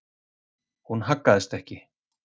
Hún haggaðist ekki.